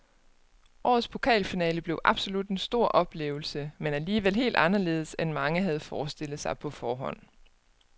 Årets pokalfinale blev absolut en stor oplevelse, men alligevel helt anderledes end mange havde forestillet sig på forhånd.